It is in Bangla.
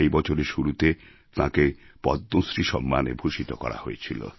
এই বছরের শুরুতে তাঁকে পদ্মশ্রী সম্মানে ভূষিত করা হয়েছিল